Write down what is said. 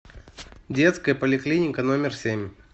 детская поликлиника номер семь